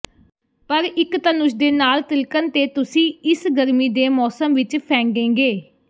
ਪਰ ਇੱਕ ਧਨੁਸ਼ ਦੇ ਨਾਲ ਤਿਲਕਣ ਤੇ ਤੁਸੀਂ ਇਸ ਗਰਮੀ ਦੇ ਮੌਸਮ ਵਿੱਚ ਫੈਂਡੇਂਗੇ